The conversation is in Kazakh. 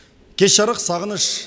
кеш жарқ сағыныш